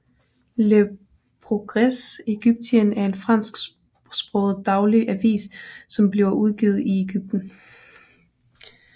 Le Progrès Egyptien er en fransk sproget daglig avis som bliver udgivet i Egypten